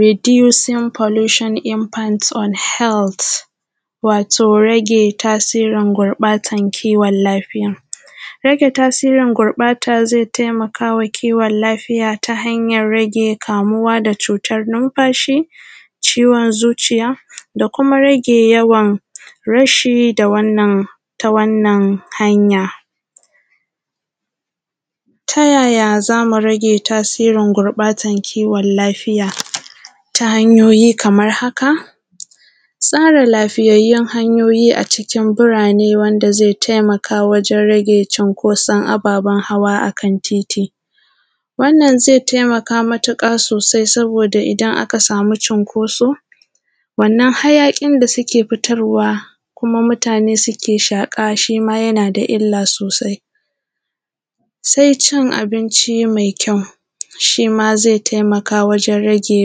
Ridusin folishin ifans on hez wato rage tasirin gurɓatan rashin lafiya. Rage gurɓatan tasirin rashin lafiya ze taimaka wa kiwon lafiya ta hanyar: rage kamuwa da cutan numfashi, ciwon zuciya, da kuma rage yawan rashi da wannan. Ta wannan hanyar, ta yaya za mu rage tasirin gurɓatan rashin lafiya? Ta hanyoyi kamar haka: Tsara lafiyyar hanyoyi cikin birane, wanda ze taimaka wajen rage cunkuson ababen hawa akan titi. Wannan ze taimaka matuƙa, domin idan aka samu cunkuso, hayaƙin da suke fitar wa, da mutane suke shaƙa, yana da illa sosai. Cin abinci mai kyau, shima ze taimaka wajen rage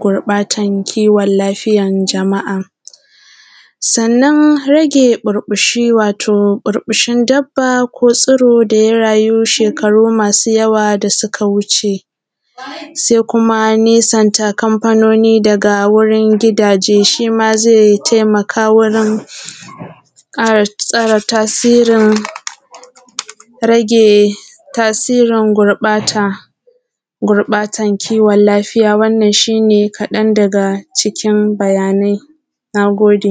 gurbatan kiwon lafiyar jama’a. Rage ɓurbushi wato ɓurbushin dabbobi ko tsiro da ya rayu shekaru masu yawa da suka wuce. Nesanta kamfanoni daga wurin gidaje, shima ze taimaka wajen kare lafiya, da tsare tasirin gurbatan kiwon lafiya. Wannan shine ƙaɗan daga cikin bayanai. Na gode.